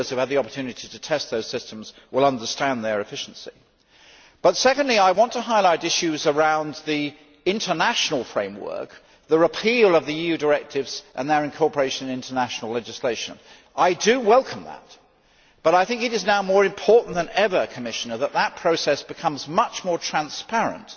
Those of us who have had the opportunity to test those systems will understand their efficiency. Secondly, I want to highlight issues around the international framework, the repeal of the EU directives and their incorporation into national legislation. I welcome that, but I think it is now more important than ever, Commissioner, that that process becomes much more transparent